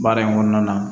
Baara in kɔnɔna na